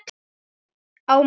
Á mann.